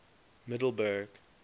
middleburg